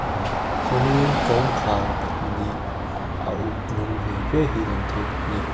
aa chuanin kawngkhar pahnih a uk rawng ve ve hi alang thei bawk a ni.